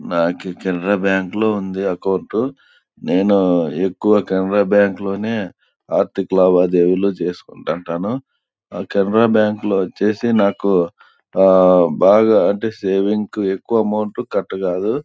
మాకు కెనరా బ్యాంకు లో ఉంది అకౌంటు . నేను ఎక్కువ కెనరా బ్యాంకు లోనే ఆర్ధిక లావాదేవీలు చేసికుంటాను. కెనరా బ్యాంకు లో ఏది వచ్చేసి నాకు అహ్హ్ బాగా అంటే సేవింగ్ ఎక్కువ అమౌంట్ కట్ కాదు.